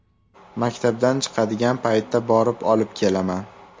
Maktabdan chiqadigan paytda borib olib kelaman.